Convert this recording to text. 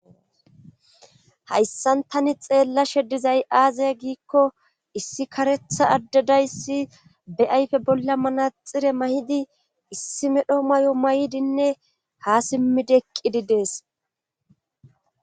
hayssan tani xeellashe dizay aze giikko issi karetha addedayssi be ayfe bolla manaxire mayidi issi medho mayo may7ldinne ha simmidi eqqidi dees